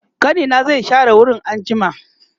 ƙanina zai share wurin anjima